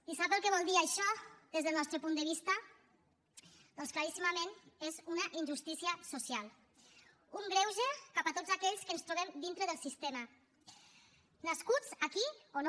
i sap el que vol dir això des del nostre punt de vista doncs claríssimament és una injustícia social un greuge cap a tots aquells que ens trobem dintre del sistema nascuts aquí o no